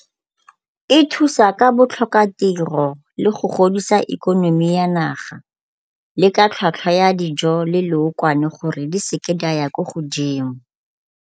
E thusa ka botlhokatiro le go godisa ikonomi ya naga le ka tlhwatlhwa ya dijo le leokawane gore di seke di a ya ko godimo.